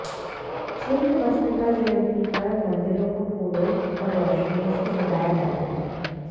छिन्नमस्तिका जंयती पर मंदिरो को फूलों और रोशनियों से सजाया जाता है